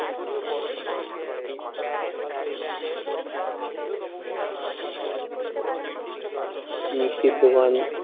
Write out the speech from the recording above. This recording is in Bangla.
মিষ্টির দোকান